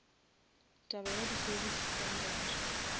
taba ya di service standard